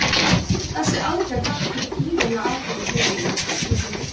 Þessi aðgerð vakti gífurlega athygli fjölmiðla, einnig hinna íslensku.